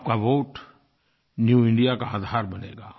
आपका vote new India का आधार बनेगा